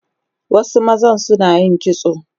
Wasu mazan Sunayin kitso